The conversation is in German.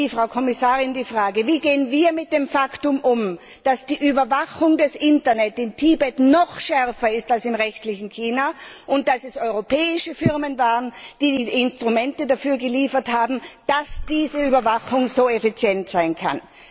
Frau Kommissarin, wie gehen wir mit dem Faktum um, dass die Überwachung des Internets in Tibet noch schärfer ist als im restlichen China und dass es europäische Firmen waren, die die Instrumente dafür geliefert haben, dass diese Überwachung so effizient sein kann?